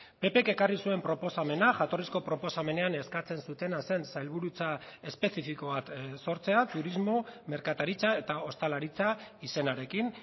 ppk ekarri zuen proposamena jatorrizko proposamenean eskatzen zutena zen sailburutza espezifiko bat sortzea turismo merkataritza eta ostalaritza izenarekin